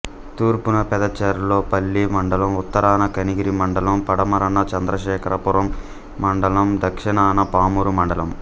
తూర్పున పెదచెర్లోపల్లి మండలం ఉత్తరాన కనిగిరి మండలం పడమరన చంద్రశేఖరపురం మండలం దక్షణాన పామూరు మండలం